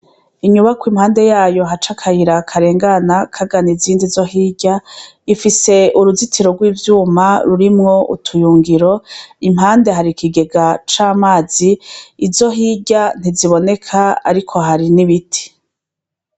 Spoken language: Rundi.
Inyubako impande yayo haca akayira karengana kagana izindi zo hirya ifise uruzitiro rw'ivyuma rurimwo utuyungiro impande hari kigega c'amazi izo hirya ntiziboneka ariko hari n'ibiti.